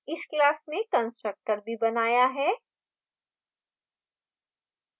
इस class में constructor भी बनाया है